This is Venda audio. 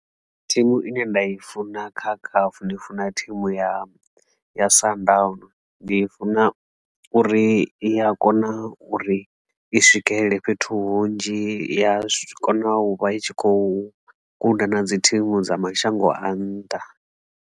Thimu ine nda i funa kha C_A_F ndi funa thimu ya ya Sundowns, ndi funa uri i a kona uri i swikelele fhethu hunzhi i ya kona u vha i tshi khou guda na dzi thimu dza mashango a nnḓa.